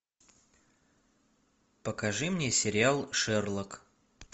покажи мне сериал шерлок